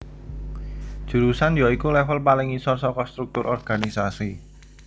Jurusan ya iku level paling ngisor saka struktur organisasi